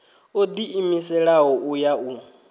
o ḓiimiselaho u ya u